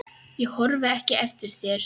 Ég horfi ekki eftir þér.